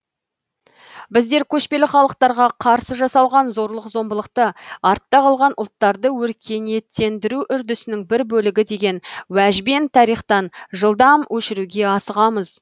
біздер көшпелі халықтарға қарсы жасалған зорлық зомбылықты артта қалған ұлттарды өркениеттендіру үрдісінің бір бөлігі деген уәжбен тарихтан жылдам өшіруге асығамыз